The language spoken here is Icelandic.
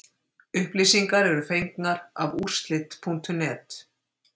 Upplýsingar eru fengnar af úrslit.net.